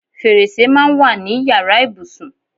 Fèrèsè máa ń wà ní yàrá ìbùsùn.